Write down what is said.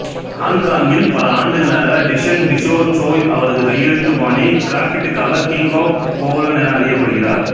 ஹாங்காங்கில் பல ஆண்டுகளாக டிசங் டிசோ ச்சோய் அவரது கையெழுத்துபாணி கிராஃபிட்டிக்காக கிங் ஆஃப் கொவ்லோன் என அறியப்படுகிறார்